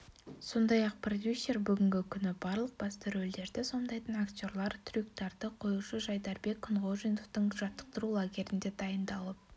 сондай-ақ продюсер бүгінгі күні барлық басты рөлдерді сомдайтын актерлар трюктарды қоюшы жайдарбек күнғожиновтың жаттықтыру лагерінде дайындалып